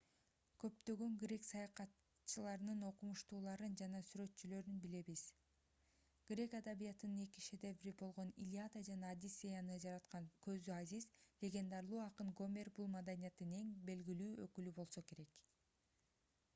көптөгөн грек саясатчыларын окумуштууларын жана сүрөтчүлөрүн билебиз грек адабиятынын эки шедеври болгон илиада жана одиссеяны жараткан көзү азиз легендарлуу акын гомер бул маданияттын эң белгилүү өкүлү болсо керек